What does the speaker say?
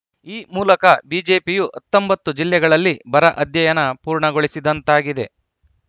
ಈ ಮೂಲಕ ಬಿಜೆಪಿಯು ಹತ್ತೊಂಬತ್ತು ಜಿಲ್ಲೆಗಳಲ್ಲಿ ಬರ ಅಧ್ಯಯನ ಪೂರ್ಣಗೊಳಿಸಿದಂತಾಗಿದೆ